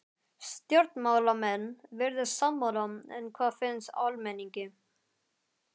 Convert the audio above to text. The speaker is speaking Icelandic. Stjórnmálamenn virðast sammála en hvað finnst almenningi?